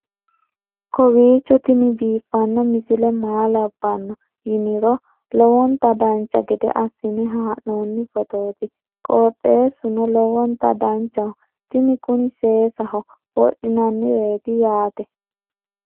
kowiicho tini biiffanno misile maa labbanno yiniro lowonta dancha gede assine haa'noonni foototi qoxeessuno lowonta danachaho. tini kuni seesaho wodhinannireeti yaate